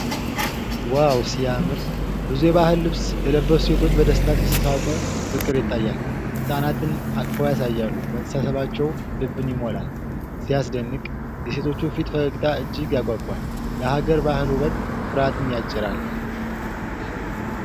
ዋው ሲያምር! ብዙየባህል ልብስ የለበሱ ሴቶች በደስታ ሲሳሳቁ ፍቅር ይታያል። ህጻናትን አቅፈው ያሳያሉ፤ መተሳሰባቸው ልብን ይሞላል። ሲያስደንቅ! የሴቶቹ ሰፊ ፈገግታ እጅግ ያጓጓል። የሀገር ባህል ውበት ኩራትን ያጭራል።